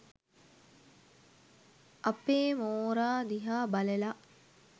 අ.පේ මෝරා දිහා බලලා